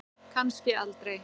Kannski aldrei.